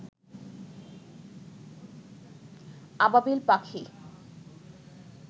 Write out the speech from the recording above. আবাবিল পাখি